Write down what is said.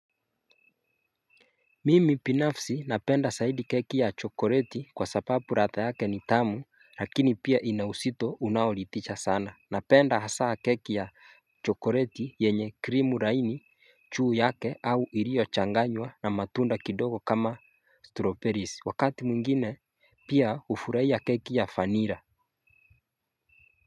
Mimi binafsi napenda zaidi keki ya chokoreti kwa sababu radha yake ni tamu lakini pia inauzito unaolidhisha sana Napenda hasa keki ya chokoreti yenye krimu laini juu yake au iliyo changanywa na matunda kidogo kama stroberisi Wakati mwingine pia hufurahia keki ya vanilla.